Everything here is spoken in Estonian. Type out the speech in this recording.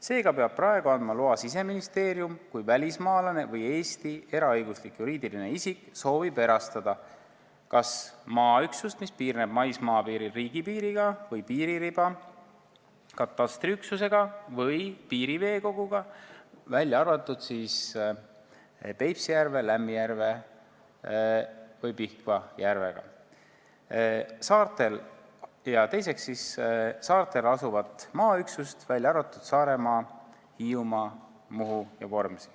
Seega peab praegu andma loa Siseministeerium, kui välismaalane või Eesti eraõiguslik juriidiline isik soovib erastada kas maaüksust, mis piirneb maismaapiiril riigipiiriga või piiririba katastriüksusega või piiriveekoguga, välja arvatud Peipsi järve, Lämmijärve või Pihkva järvega, või saarel asuvat maaüksust, välja arvatud Saaremaa, Hiiumaa, Muhu ja Vormsi.